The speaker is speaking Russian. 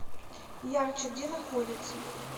ярче где находится